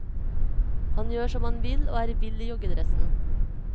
Han gjør som han vil og er vill i joggedressen.